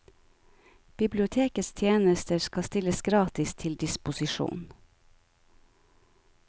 Bibliotekets tjenester skal stilles gratis til disposisjon.